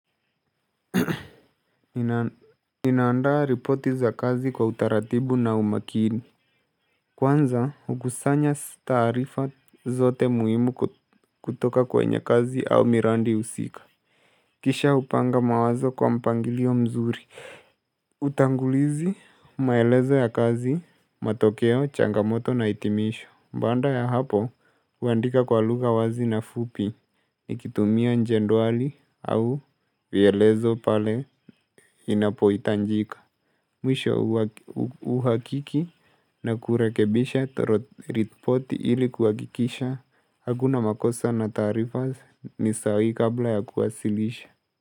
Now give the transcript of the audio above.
Ninaandaa ripoti za kazi kwa utaratibu na umakini Kwanza hukusanya taarifa zote muhimu kutoka kwenye kazi au miradi husika Kisha hupanga mawazo kwa mpangilio mzuri Utangulizi maelezo ya kazi matokeo changamoto na hitimisho. Baada ya hapo huandika kwa lugha wazi na fupi Nikitumia jedwali au vielezo pale inapohitajika. Mwisho uhakiki na kurekebisha ripoti ili kuhakikisha Hakuna makosa na taarifa ni sahihi kabla ya kuwasilisha.